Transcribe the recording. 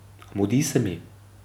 A mudi se mi.